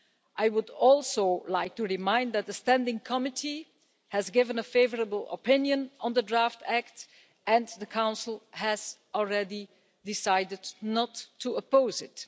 I would also like to remind you that the Standing Committee has given a favourable opinion on the draft act and the Council has already decided not to oppose it.